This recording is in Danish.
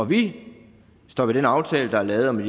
vi står ved den aftale der er lavet om